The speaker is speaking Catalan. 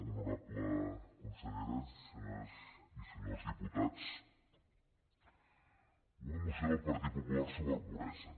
honorable consellera senyores i senyors diputats una moció del partit popular sobre pobresa